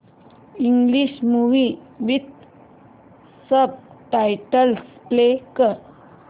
English movie with subtitles play कर